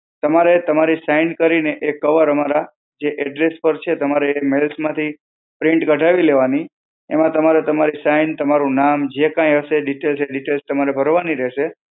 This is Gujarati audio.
તમારે તમારી sign કરીને એક કવર અમારા જે address પર છે, તમારે એ mail માંથી print કઢાવી લેવાની, એમાં તમારે તમારી sign તમારું નામ, જે કાંઈ હશે details, એ details તમારે ભરવાની રહેશે.